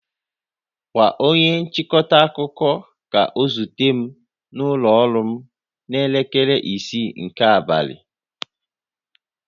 Gwa onye nchịkọta akụkọ ka ọ zute m n'ụlọ ọrụ m n'elekere isii nke abalị!